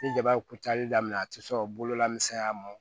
Ni jaba ye kucali daminɛ a ti sɔn bolola misɛnya mɔn